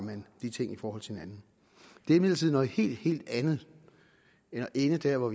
de ting i forhold til hinanden det er imidlertid noget helt helt andet end at ende der hvor